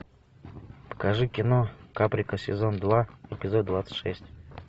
покажи кино каприка сезон два эпизод двадцать шесть